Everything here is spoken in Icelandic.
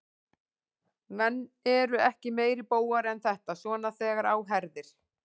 Menn eru ekki meiri bógar en þetta, svona þegar á herðir.